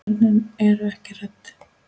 Börnin eru ekki hrædd.